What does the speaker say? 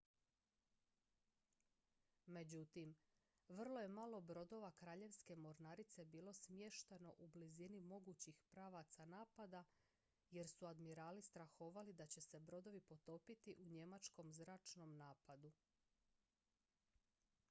međutim vrlo je malo brodova kraljevske mornarice bilo smješteno u blizini mogućih pravaca napada jer su admirali strahovali da će se brodovi potopiti u njemačkom zračnom napadu